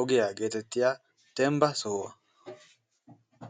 ogiya geetettiya dembba sohuwa.